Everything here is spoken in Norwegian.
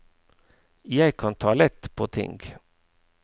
Jeg kan ta lett på ting.